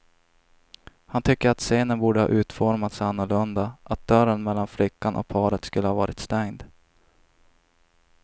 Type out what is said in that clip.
Han tycker att scenen borde ha utformats annorlunda, att dörren mellan flickan och paret skulle ha varit stängd.